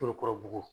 Forokurubugu